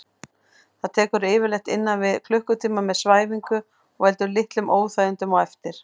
Það tekur yfirleitt innan við klukkutíma með svæfingu og veldur litlum óþægindum á eftir.